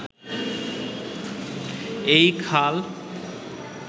এই খাল